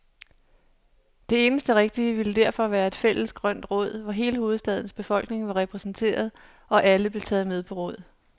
Det eneste rigtige ville derfor være et fælles grønt råd, hvor hele hovedstadens befolkning var repræsenteret, og alle blev taget med på råd.